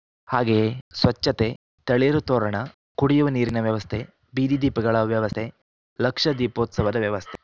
ಹಾಗೇಯೇ ಸ್ವಚ್ಛತೆ ತಳಿರು ತೋರಣ ಕುಡಿಯುವ ನೀರಿನ ವ್ಯವಸ್ಥೆ ಬೀದಿ ದೀಪಗಳ ವ್ಯವಸ್ಥೆ ಲಕ್ಷ ದೀಪೋತ್ಸವದ ವ್ಯವಸ್ಥೆ